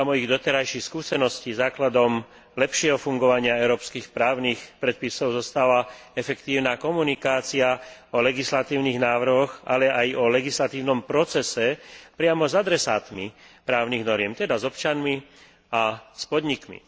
Podľa mojich doterajších skúseností, základom lepšieho fungovania európskych právnych predpisov zostáva efektívna komunikácia o legislatívnych návrhoch, ale aj o legislatívnom procese priamo s adresátmi právnych noriem, teda s občanmi a podnikmi.